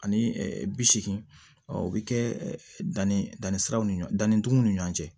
Ani bi seegin ɔ o bɛ kɛ danni danni siraw ni ɲɔɔnniw ni ɲɔgɔn cɛ